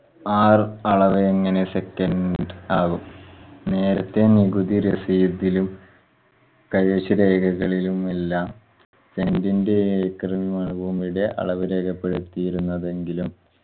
R അളവെങ്ങനെ second ആവും. നേരത്തെ നികുതി receipt ഇലും കൈവശ രേഖകളിലുമെല്ലാം cent ന്റെ ഏക്കർ ബൂമിടെ അളവ് രേഖപ്പെടുത്തിയിരുന്നെങ്കിലും